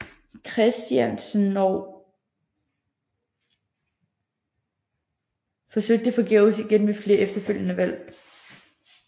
Christiansenog forsøgte forgæves igen ved flere efterfølgende valg